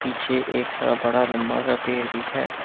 पीछे एक हरा बड़ा लंबा सा पेड़ भी है।